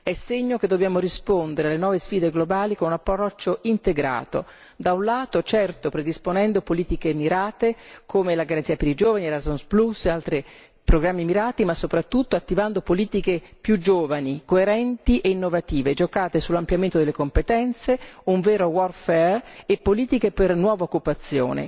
È segno che dobbiamo rispondere alle nuove sfide globali con un approccio integrato da un lato, certo, predisponendo politiche mirate come la Garanzia per i giovani, Erasmus plus e altri programmi mirati, ma soprattutto attivando politiche più giovani, coerenti e innovative, giocate sull'ampliamento delle competenze, un vero warfare e politiche per nuova occupazione